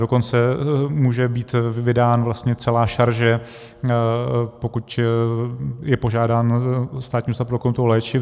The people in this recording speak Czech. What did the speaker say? Dokonce může být vydána vlastně celá šarže, pokud je požádán Státní ústav pro kontrolu léčiv.